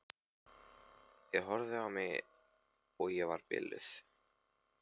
Þeir horfðu á mig eins og ég væri biluð.